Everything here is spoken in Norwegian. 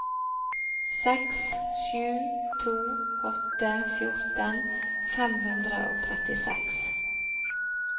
seks sju to åtte fjorten fem hundre og trettiseks